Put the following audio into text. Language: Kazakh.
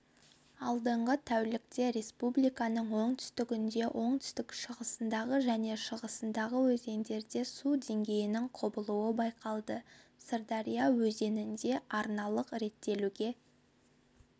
алдағы тәулікте республиканың оңтүстігінде оңтүстік-шығысындағы және шығысындағы өзендерде су деңгейінің құбылуы байқалады сырдария өзенінде арналық реттеулерге